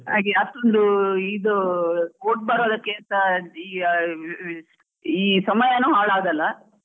ಹಾಗೆ ಅಷ್ಟೊಂದು ಇದು ಬರೋದಕ್ಕೆ ಅಂತ ಈ ಈ ಸಮಯಾನು ಹಾಳ್ ಆಗಲ್ಲ.